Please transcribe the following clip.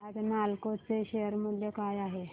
आज नालको चे शेअर मूल्य काय आहे